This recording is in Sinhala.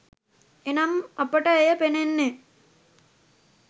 එනම් අපට එය පෙනෙන්නේ